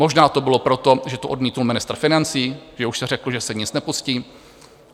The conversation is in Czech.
Možná to bylo proto, že to odmítl ministr financí, že už se řeklo, že se nic nepustí.